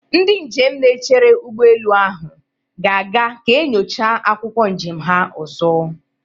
Ndị njem na-echere ụgbọelu ahụ ga-aga ka enyocha akwụkwọ njem ha ọzọ.